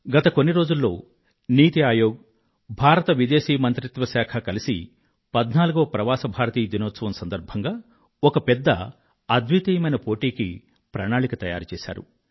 గత కొన్ని రోజుల్లో నీతీ ఆయోగ్ భారత విదేశీ మంత్రిత్వ శాఖ కలిసి 14వ ప్రవాస భారతీయ దినం సందర్భంగా ఒక పెద్ద అద్వితీయమైన పోటీకి ప్రణాళిక ను తయారుచేశాయి